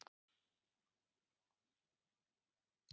Hreinn, mun rigna í dag?